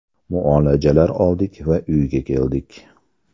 Muolajalar oldik va uyga keldik.